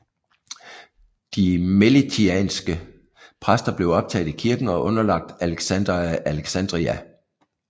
De melitianske præster blev optaget i kirken og underlagt Alexander af Alexandria